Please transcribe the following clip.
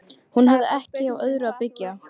Hún hafði ekki á öðru að byggja.